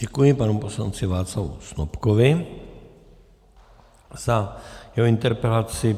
Děkuji panu poslanci Václavu Snopkovi za jeho interpelaci.